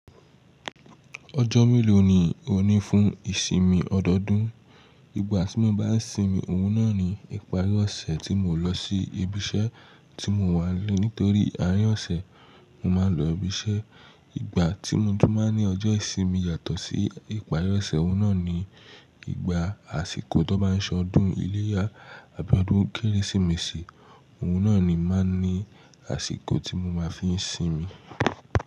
Ọjọ́ mélòó ni ó ní fún ìsinmi ọdọọdún? Ìgbà tí mo bá n sinmi, òun náà ni ìparí ọ̀sẹ̀ tí mò lọ sí ibi iṣẹ́ tí mò wà n le, nitorí àárín ọ̀sẹ̀ mo máa ń lọ ibi iṣẹ́. Ìgbà tí mo tu máa ní ọjọ́ ìsinmi yàtọ̀ sí ìparí ọ̀sẹ̀, òun náà ni ìgbà àsìkò tí wón má n se ọdún iléyá, abi ọdún Kérésìmesì, òun náà ni máa n ní àsìkò tí mo máa fi sinmi.